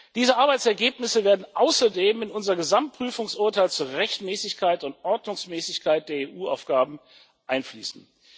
Diese Arbeitsergebnisse werden außerdem in unser Gesamtprüfungsurteil zur Rechtmäßigkeit und Ordnungsmäßigkeit der EU-Ausgaben einfließen.